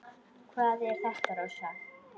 Hvað er þetta, Rósa?